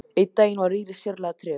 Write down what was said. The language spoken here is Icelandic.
Einn daginn var Íris sérlega treg.